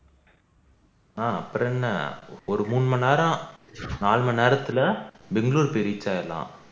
ஆஹ் அப்பறோம் என்ன ஒரு மூணு மணி நேரம் நாலு மணி நேரத்துல பெங்களூர் போய் reach ஆகிடலாம்